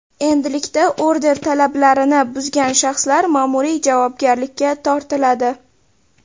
Endilikda order talablarini buzgan shaxslar ma’muriy javobgarlikka tortiladi.